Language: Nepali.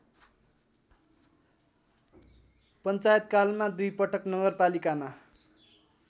पञ्चायतकालमा दुईपटक नगरपालिकामा